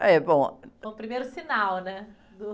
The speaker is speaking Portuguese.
É, bom...oi o primeiro sinal, né? Do...